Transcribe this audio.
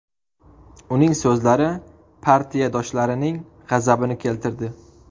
Uning so‘zlari partiyadoshlarining g‘azabini keltirdi.